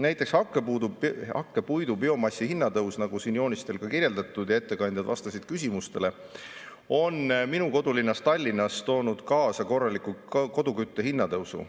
Näiteks hakkepuidu biomassi kallinemine, nagu siin joonistel kirjeldatud ja nagu ettekandjad küsimustele vastates ütlesid, on minu kodulinnas Tallinnas toonud kaasa kodu kütmise korraliku kallinemise.